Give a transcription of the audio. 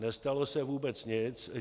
Nestalo se vůbec nic.